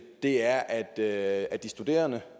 er at at de studerende